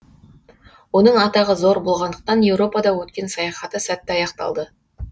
оның атағы зор болғандықтан еуропада өткен саяхаты сәтті аяқталды